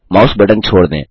mouse button छोड़ दें